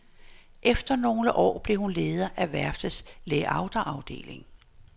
Efter nogle år blev hun leder af værftets layoutafdeling.